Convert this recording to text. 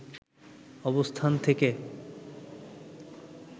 অবস্থান থেকে